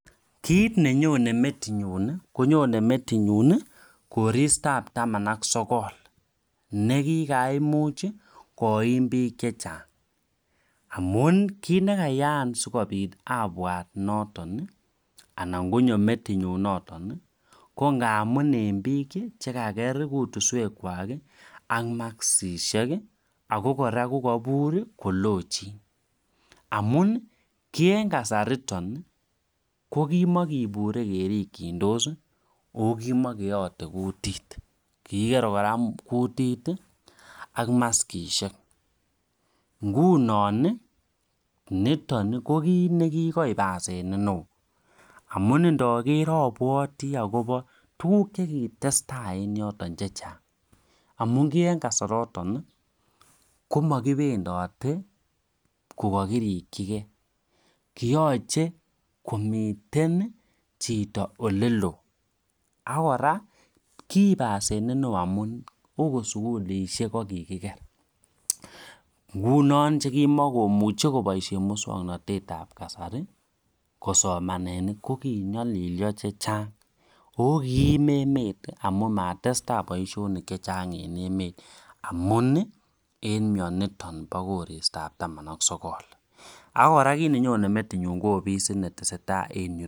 Kit nenyone metinyun konyone metinyun koristab taman ak sokol nekikaimuchi koim bik chechang amun kit nekeyaa sikopit abwat noton ana konyo metinyun noton nii ko ngamun en bik chekaker kutuswek kwak ak maskishek ako koraa ko koiburi kokochin amuni kii en kasaraton ko kimokinire kerikindosi okimokeyote kutit, kikikere koraa kutit tii ak maskishek nguni nii niton nii ko kite nekikoib asenet neo amun ndoker obwetii akobo tukuk chekitestai en yoton chechang amun ki en kasaraton komokipendotet Koko kirikigee koyoche komiten chito oleloo ak koraa kiib asenet neo amun okot sukulishek ko kikiker, nguno chekimokimuche koboishen muswoknotetab kasari kosomanen nii ko kinyolilyo chechang okiim emet amun matestai boishonik chechang en emet amunii en mioniton no koristab taman ak sokol. Ak koraa kit nenyone metinyun ko ofisit netesetai en yuton.